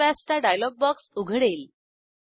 save as चा dialogue box उघडेल